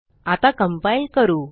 आताcompile करू